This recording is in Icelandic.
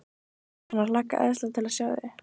Ég er farinn að hlakka æðislega til að sjá þig.